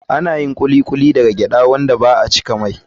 Ana yin Kuli kuli daga gyaɗa wanda ba a cikin mai.